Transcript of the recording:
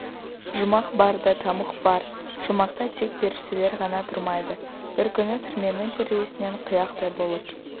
жұмақ бар да тамұқ бар жұмақта тек періштелер ғана тұрмайды бір күні түрменің терезесінен қияқтай болып